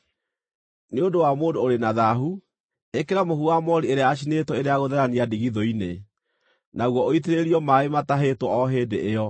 “Nĩ ũndũ wa mũndũ ũrĩ na thaahu, ĩkĩra mũhu wa moori ĩrĩa yacinĩtwo ĩrĩ ya gũtherania ndigithũ-inĩ, naguo ũitĩrĩrio maaĩ matahĩtwo o hĩndĩ ĩyo.